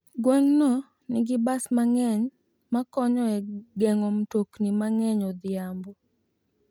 Gweng'no nigi bas mang'eny makonyo e geng'o mtokni mang'eny odhiambo.